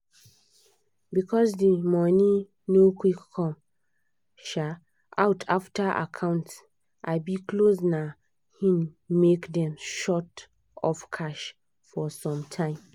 because the money no quick come um out after account um close na hin make dem short of cash for some time